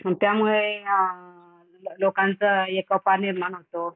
अन त्यामुळे अ अ लोकांचा एकोपा निर्माण होतो.